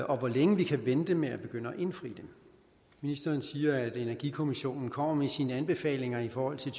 og hvor længe vi kan vente med at begynde at indfri dem ministeren siger at energikommissionen kommer med sine anbefalinger i forhold til